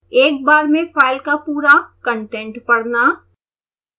एक बार में फाइल का पूरा कंटेंट पढ़ना